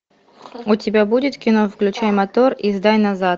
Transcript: у тебя будет кино включай мотор и сдай назад